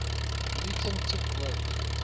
newton took work